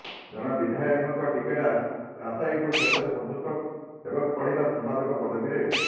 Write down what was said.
ଜଣେ ବିଧାୟକ ଟିକଟ ଆଶାୟୀଙ୍କୁ ଶେଷରେ ସନ୍ତୁଷ୍ଟ ହେବାକୁ ପଡିଲା ସମ୍ପାଦକ ପଦବୀରେ